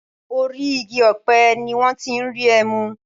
Orí igi ọ̀pẹ ni wọ́n ti ń rí ẹmu.